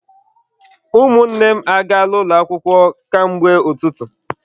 Ụmụnne m agaala ụlọ akwụkwọ ka mgbe ụtụtụ..